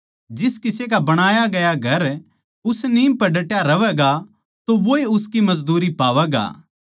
जिस किसे का बणाया गया घर उस नीम पै डटया रहवैगा तो वोए उसकी मजदूरी पावैगा